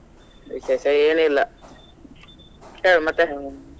ವಿಶೇಷ ಏನ್ ಇಲ್ಲ ಹೇಳು ಮತ್ತ?